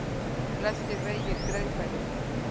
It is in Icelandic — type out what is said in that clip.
Flestir vegir greiðfærir